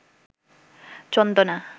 চন্দনা